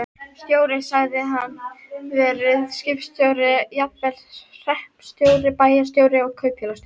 Stjóri hafði hann verið, skipstjóri, jafnvel hreppstjóri, bæjarstjóri og kaupfélagsstjóri.